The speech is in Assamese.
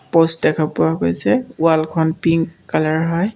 প'ষ্ট দেখা পোৱা গৈছে ৱালখন পিনক কালাৰৰ হয়।